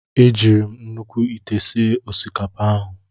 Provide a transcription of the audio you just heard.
E jiiri m nnukwu ite sie osikapa ahụ.